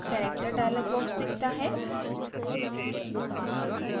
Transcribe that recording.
character dialog box दिखता है